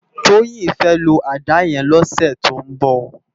Toyin fè ló àdá yèn lòsè tó n bò